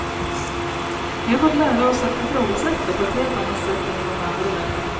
Vi har fått lära oss att ifrågasätta på ett helt annat sätt än i många andra länder.